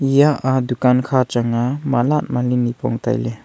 eya a dukan kha chang a mala malip nipong tai ley.